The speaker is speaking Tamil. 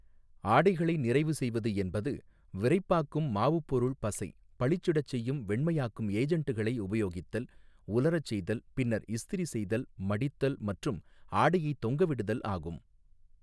ஆடைகளை நிறைவு செய்வது என்பது விறைப்பாக்கும் மாவுப் பொருள் பசை பளிச்சிடச் செய்யும் வெண்மையாக்கும் ஏஜென்ட்டுகளை உபயோகித்தல் உலரச் செய்தல் பின்னர் இஸ்திரி செய்தல் மடித்தல் மற்றும் ஆடையைத் தொங்கவிடுதல் ஆகும்.